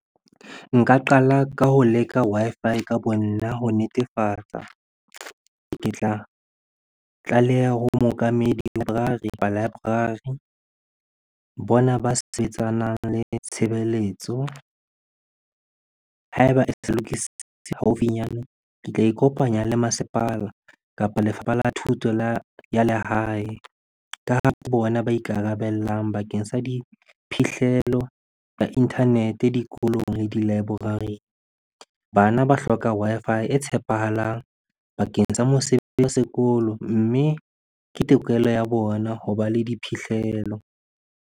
Nka qala ka ho leka Wi-Fi ka bo nna ho netefatsa. Ke tla tlaleha ho mookamedi library library bona ba sebetsanang le tshebeletso. Ha eba lokisitse haufinyane, ke tla ikopanya le masepala kapa lefapha la thuto la, ya lehae. Ka ha ke bona ba ikarabellang bakeng sa diphihlelo ya internet-e dikolong le di-library. Bana ba hloka Wi-Fi e tshepahalang bakeng sa mosebetsi wa sekolo, mme ke tokelo ya bona hoba le diphihlelo.